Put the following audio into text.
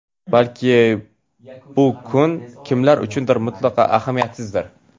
Balki bu kun kimlar uchundir mutlaqo ahamiyatsizdir.